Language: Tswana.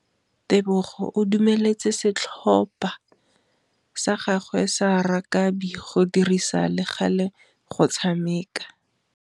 Tebogô o dumeletse setlhopha sa gagwe sa rakabi go dirisa le galê go tshameka.